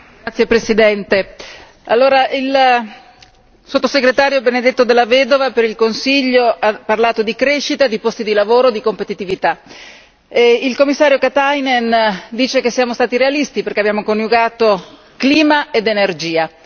Signor Presidente, onorevoli deputati, il sottosegretario Benedetto della Vedova per il Consiglio ha parlato di crescita, di posti di lavoro, di competitività. Il Commissario Katainen dice che siamo stati realisti perché abbiamo coniugato clima ed energia.